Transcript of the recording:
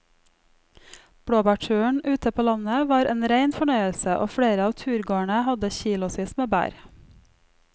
Blåbærturen ute på landet var en rein fornøyelse og flere av turgåerene hadde kilosvis med bær.